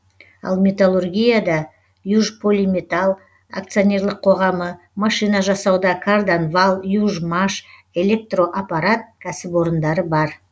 ал металлургияда южполиметалл акционерлік қоғамы машина жасауда карданвал южмаш электроаппарат кәсіпорындары бар